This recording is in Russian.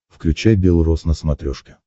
включай бел роз на смотрешке